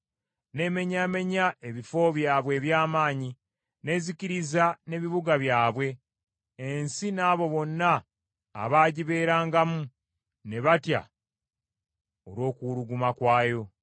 N’emenyaamenya ebifo byabwe eby’amaanyi, n’ezikiriza n’ebibuga byabwe; ensi n’abo bonna abaagibeerangamu, ne batya olw’okuwuluguma kwayo.